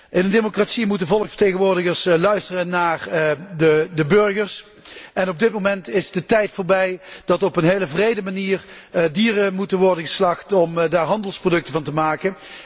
In een democratie moeten volksvertegenwoordigers luisteren naar de burgers en op dit moment is de tijd voorbij dat op een heel wrede manier dieren moeten worden geslacht om er handelsproducten van te maken.